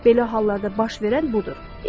Belə hallarda baş verən budur.